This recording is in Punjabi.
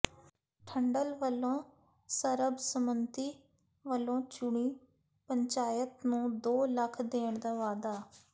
ਠੰਡਲ ਵਲੋਂ ਸਰਬਸੰਮਤੀ ਨਾਲ ਚੁਣੀ ਪੰਚਾਇਤ ਨੂੰ ਦੋ ਲੱਖ ਦੇਣ ਦਾ ਵਾਅਦਾ